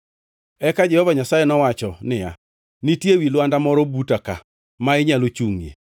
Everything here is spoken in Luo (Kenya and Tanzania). Eka Jehova Nyasaye nowacho niya, “Nitie wi lwanda moro buta ka ma inyalo chungʼie.